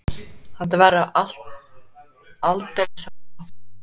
Þetta verður aldrei sagt aftur.